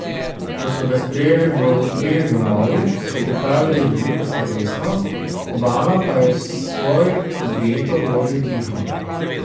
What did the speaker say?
Ko so ga sprejeli v obeh domovih, so pripravili veliko slovesnost, Obama pa je svoj veto vložil tiho.